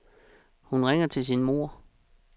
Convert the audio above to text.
Hun ringer til sin moder.